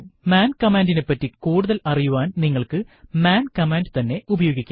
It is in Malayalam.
മാൻ കമാൻഡിനെപ്പറ്റി കൂടുതൽ അറിയാൻ നിങ്ങൾക്കു മാൻ കമ്മാൻഡു തന്നെ ഉപയോഗിക്കാം